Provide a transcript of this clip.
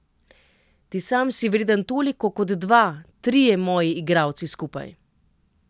Ti sam si vreden toliko kot dva, trije moji igralci skupaj.